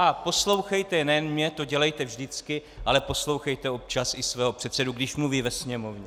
A poslouchejte nejen mě, to dělejte vždycky, ale poslouchejte občas i svého předsedu, když mluví ve Sněmovně.